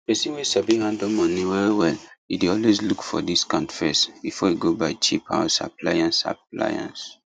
person wey sabi handle money wellwell e dey always look for discount first before e go buy cheap house appliance appliance